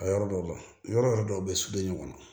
A yɔrɔ dɔw la yɔrɔ yɔrɔ dɔw bɛ su bɛ ɲɔgɔn na